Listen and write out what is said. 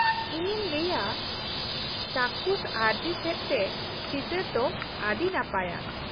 ᱤᱧᱤᱧ ᱞᱟᱹᱭᱼᱟ ᱪᱟᱠᱷᱩᱥ ᱟᱹᱨᱡᱤ ᱥᱮᱫ ᱛᱮ ᱪᱤᱛᱟᱹᱨ ᱫᱚ ᱟᱹᱰᱤ ᱱᱟᱯᱟᱭᱟ ᱾